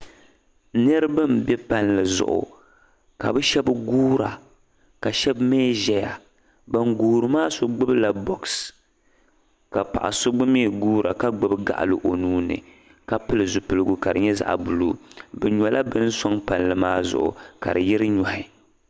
Niriba m-be palli zuɣu ka bɛ shɛba guura ka shɛba mi zaya. Ban guuri maa so gbibila bɔɣusi ka paɣa so gba mi guura ka gbibi gaɣili o nuu ni ka pili zupiligu ka di nyɛ zaɣ' buluu. Bɛ nyɔla bini sɔŋ palli maa zuɣu ka di yiri nyɔhi.